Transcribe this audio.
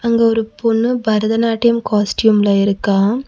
அங்க ஒரு பொண்ணு பரதநாட்டியம் காஸ்ட்யூம்ல இருக்கா.